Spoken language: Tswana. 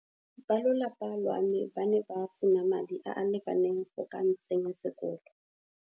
Balolapa lwa me ba ne ba sena madi a a lekaneng go ka ntsenya sekolo.